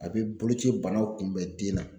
A bɛ boloci banaw kunbɛn den na